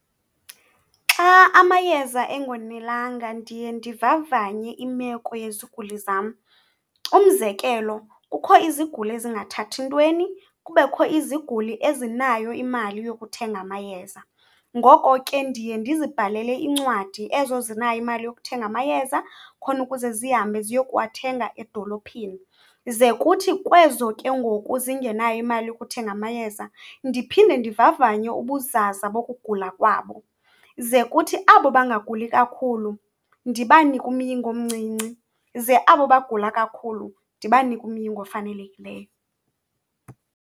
Xa amayeza engonelanga ndiye ndivavanye imeko yeziguli zam. Umzekelo, kukho iziguli ezingathathi ntweni, kubekho iziguli ezinayo imali yokuthenga amayeza. Ngoko ke, ndiye ndizibhalele incwadi ezo zinayo imali yokuthenga amayeza khona ukuze zihambe ziye kuwathenga edolophini, ze kuthi kwezo ke ngoku zingenayo imali yokuthenga amayeza ndiphinde ndivavanye ubuzaza bokugula kwabo. Ze kuthi abo bangaguli kakhulu ndibanike umyinge omncinci, ze abo bagula kakhulu ndibanike umyinge ofanelekileyo.